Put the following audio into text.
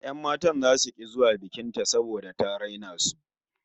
Yan matan zasu ki zuwa bikin ta saboda ta raina su